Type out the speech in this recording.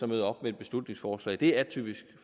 møder op med et beslutningsforslag det er atypisk